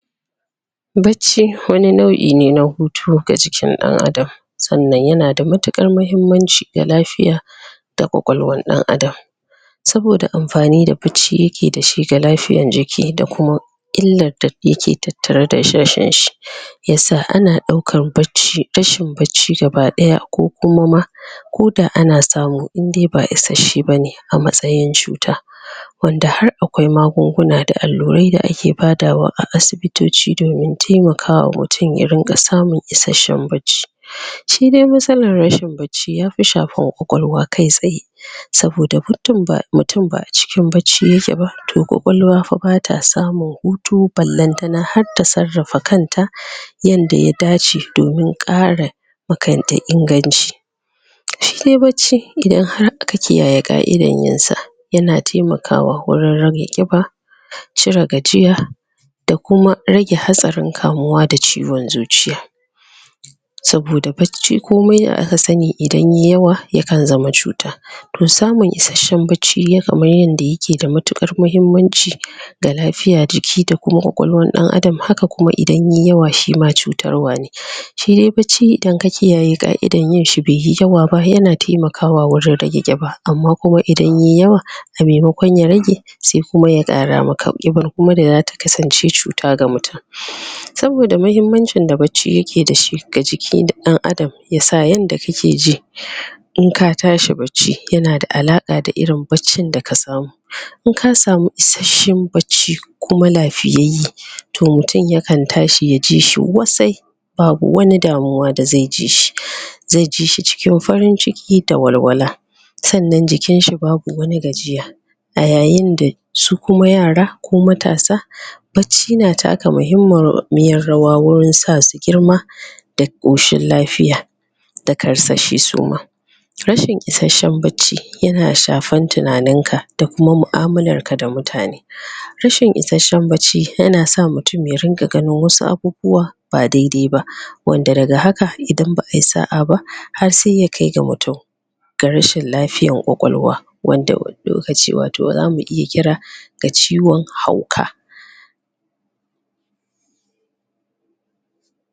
Bacci wani nau'i ne na hutu ga jikin ɗan'adam sannan yana da matuƙar mahimmanci ga lafiya da ƙwaƙwalwar ɗan'adam saboda amfani da bacci yake da shi ga lafiyan jiki da kuma illar da yake tattare da rashin shi yasa ana ɗaukar bacci, rashin bacci gabaɗaya ko kuma ma ko da ana samu in dai ba isashe bane a matsayin cuta wanda har akwai magunguna da allurai da ake badawa a asibitoci domin taimakawa mutun ya ringa samun isashen bacci shi dai matsalar rashin bacci yafi shafar ƙwaƙwalwa kai tsaye saboda muddin mutun ba'a cikin bacci yake ba to ƙwaƙwalwa fa bata samun hutu balantana har ta sarrafa kan ta yanda ya dace domin ƙara ma kan ta inganci shi dai bacci idan har aka kiyaye ƙa'idan yin sa yana taimakawa wurin rage ƙiba cire gajiya da kuma rage hatsarin kamuwa da ciwon zuciya saboda bacci komai da aka sani idan yai yawa yakan zama cuta to samun isashen bacci kamar yanda yake da matuƙar mahimmanci ga lafiya, jiki da kuma ƙwaƙwalwar ɗan'adam haka kuma idan yayi yawa shi ma cutarwa ne shi dai bacci idan ka kiyaye ƙa'idan yin shi bai yi yawa ba yana taimakawa wurin rage ƙiba amma kuam idan yayi yawa a maimakon ya rage sai kuma ya ƙara maka ƙibar kuma zata kasance cuta ga mutun saboda mahimmancin da bacci yake da shi ga jikin ɗan'adam yasa yanda kake ji in ka tashi bacci yana da alaƙa da irin baccin da ka samu in ka samu isashen bacci kuma lafiyayye to mutun ya kan tashi yaji shi wasai babu wani damuwa da zai ji shi zai ji shi cikin farin ciki da walwala sannan jikin shi babu wani gajiya a yayin da su kuma yara ko matasa bacci na taka mahimmiyar yawa wurin sa su girma da ƙoshin lafiya da karsashi su ma rashin isashen bacci yana shafan tunanin ka da kuma mu'amalar ka da mutane rashin isashen bacci yana sa mutun ya rinƙa ganin wasu abubuwa ba dai-dai ba wanda daga haka idan ba ai sa'a ba har sai ya kai ga wato da rashin lafiyar ƙwaƙwalwa wanda wani lokaci wato zamu iya kira da ciwon hauka.